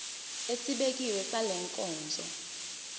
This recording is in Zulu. esibekiwe sale nkonzo